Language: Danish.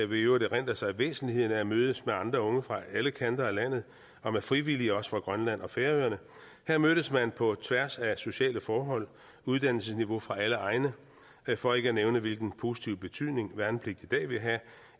vil i øvrigt erindre sig væsentligheden af at mødes med andre unge fra alle kanter af landet og med frivillige også fra grønland og færøerne her mødtes man på tværs af sociale forhold og uddannelsesniveau fra alle egne for ikke at nævne hvilken positiv betydning værnepligt i dag vil have